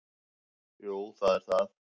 Jú það er það.